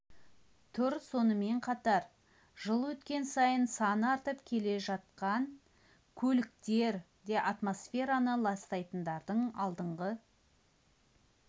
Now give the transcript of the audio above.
тұр сонымен қатар жыл өткен сайын саны артып келе жатқан көліктер де атмосфераны ластайтындардың алдыңғы